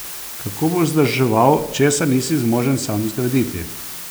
Kako boš vzdrževal, česar nisi zmožen sam zgraditi?